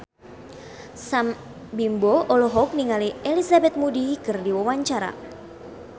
Sam Bimbo olohok ningali Elizabeth Moody keur diwawancara